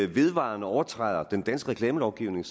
vedvarende overtræder den danske reklamelovgivning